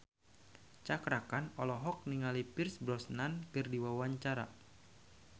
Cakra Khan olohok ningali Pierce Brosnan keur diwawancara